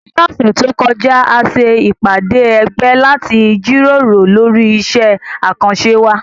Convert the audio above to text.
Ní ọ̀sẹ̀ tó kọjá, a ṣe ìpàdé ẹgbẹ́ láti jíròrò lórí iṣẹ́ àkànṣe wa